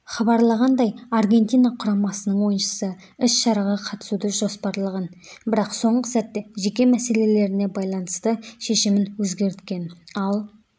хабарлағандай аргентина құрамасының ойыншысы іс-шараға қатысуды жоспарлаған бірақ соңғы сәтте жеке мәселелеріне байланысты шешімін өзгерткен ал